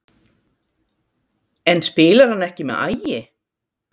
En spilar hann ekki með Ægi?